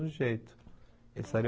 jeito. Eles estariam